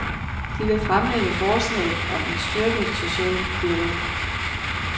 De vil fremlægge forslag om en styrket social dialog.